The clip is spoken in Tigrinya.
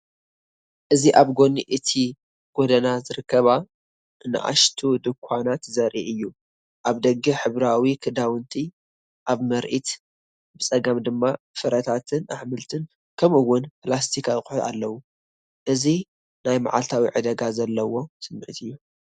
እዚ ኣብ ጎኒ እቲ ጎደና ዝርከባ ንኣሽቱ ድኳናት ዘርኢ እዩ። ኣብ ደገ ሕብራዊ ክዳውንቲ (ኣብ ምርኢት) ብጸጋም ድማ ፍረታትን ኣሕምልትን ከምኡ’ውን ፕላስቲክ ኣቑሑት ኣለዉ። እዚ ናይ መዓልታዊ ዕዳጋ ዘለዎ ስምዒት እዩ።